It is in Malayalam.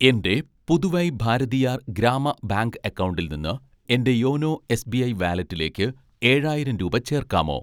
എൻ്റെ പുതുവൈ ഭാരതിയാർ ഗ്രാമ ബാങ്ക് അക്കൗണ്ടിൽ നിന്ന് എൻ്റെ യോനോ എസ്.ബി.ഐ വാലറ്റിലേക്ക് ഏഴായിരം രൂപ ചേർക്കാമോ?